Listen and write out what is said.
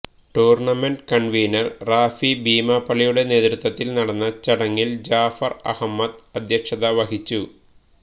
tournament convener Rafi ബീമാപള്ളിയുടെ നേതൃത്വത്തില് നടന്ന ചടങ്ങില് ജാഫര് അഹമ്മദ് അധ്യക്ഷത വഹിച്ചു